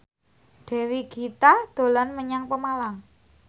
Dewi Gita dolan menyang Pemalang